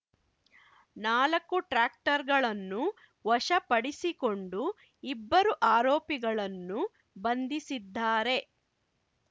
ನಾಲಕ್ಕು ಟ್ರ್ಯಾಕ್ಟರ್‌‌ಗಳನ್ನು ವಶಪಡಿಸಿಕೊಂಡು ಇಬ್ಬರು ಆರೋಪಿಗಳನ್ನು ಬಂಧಿಸಿದ್ದಾರೆ